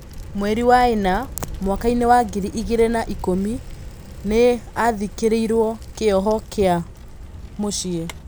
Mwerinĩ wa ĩ na mwakainĩ wa ngiri igĩ rĩ na ikũmi, nĩ agarhĩ kĩ irwo kĩ oho gĩ a mũciĩ .